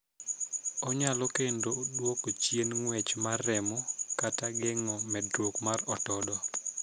Onyalo kendo duoko chien ng'wech mar remo kata geng'o medruok mar otodo.